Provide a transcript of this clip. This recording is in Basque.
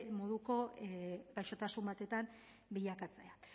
moduko gaixotasun batetan bilakatzea